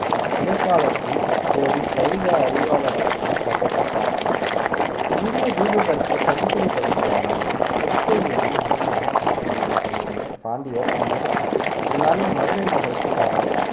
இடைக்காலத்தின்போது சைவ அறிவாளராகவும் கருதப்பட்டார் இந்திய தீபகற்ப தென்கோடி பகுதியான கொற்கையிலிருந்து முதலில் ஆட்சி செய்த துவங்கிய பாண்டியர் பின்னர் பின் நாளில் மதுரை நகருக்கு மாறினர்